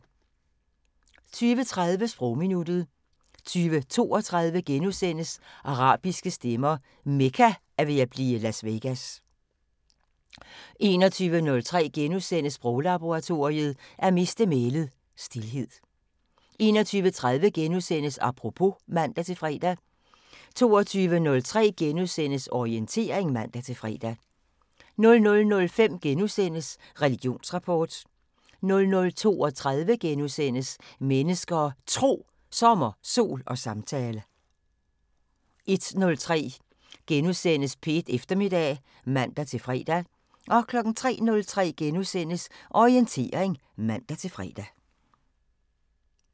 20:30: Sprogminuttet 20:32: Arabiske stemmer: Mekka er ved at blive Las Vegas * 21:03: Sproglaboratoriet: At miste mælet – Stilhed * 21:30: Apropos *(man-fre) 22:03: Orientering *(man-fre) 00:05: Religionsrapport * 00:32: Mennesker og Tro: Sommer, sol og samtale * 01:03: P1 Eftermiddag *(man-fre) 03:03: Orientering *(man-fre)